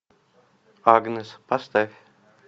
агнес поставь